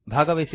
ಧನ್ಯವಾದಗಳು